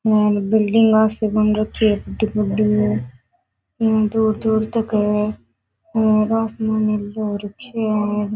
यहाँ बिलडिंगआ सी बन रखी है बड़ी बड़ी दूर दूर तक है और आसमान नीलो हो रखे है।